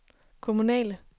kommunale